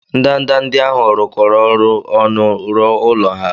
ndanda ndị ahụ rụkọrọ ọrụ ọnụ rụọ ụlọ ha